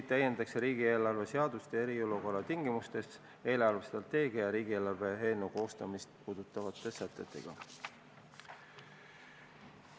Riigieelarve seadust täiendatakse eriolukorra tingimustes eelarvestrateegia ja riigieelarve eelnõu koostamist puudutavate sätetega.